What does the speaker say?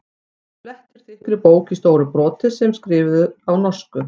Hann flettir þykkri bók í stóru broti sem er skrifuð á norsku.